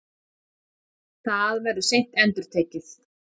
Það verður seint endurtekið.